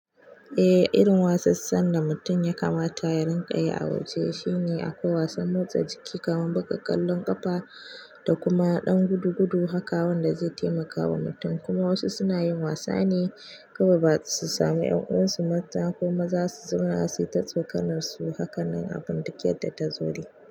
Eh, irin wasassan da mutum ya kamata ya rinƙa yi a waje shine akwai wasan motsa jiki kaman buga ƙwallon ƙafa da kuma ɗan gudu-gudu. Haka wanda zai taimaka wa mutum kuma wasu suna yin wasa ne kawai ba su sami ƴan uwansu mata ko maza su zauna su yi ta tsokanar su hakanan abin duk yadda ta zo de.